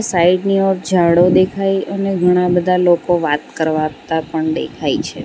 Side ની ઓર જાડો દેખાય અને ઘણા બધા લોકો વાત કરવાતા પણ દેખાય છે.